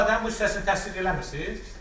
Bu ifadənin bu hissəsini təsdiq eləmisiz?